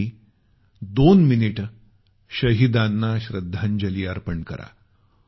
आपणही दोन मिनिटे शहीदाना श्रद्धांजली अर्पण करा